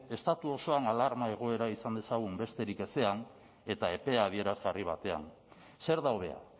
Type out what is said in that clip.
estatu osoan alarma egoera izan dezagun besterik ezean eta epea adierazgarri batean zer da hobea